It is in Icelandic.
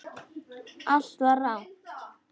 Allt var rangt.